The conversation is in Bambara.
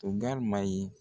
To gari ma ye.